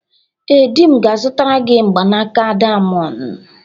Ee, di m ga-azụtara gị mgbanaka dayamondu.